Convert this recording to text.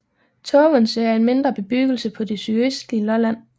Tågense er en mindre bebyggelse på det sydøstlige Lolland